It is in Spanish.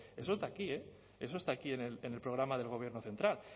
eso está aquí eh eso está aquí en el programa del gobierno central